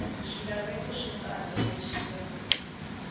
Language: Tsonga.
swilaveko swo tala leswi nga